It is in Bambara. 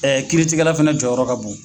kiiri tigɛla fana jɔyɔrɔ ka bon.